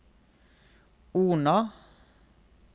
Ona